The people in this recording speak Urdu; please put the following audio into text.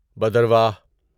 بدرواہ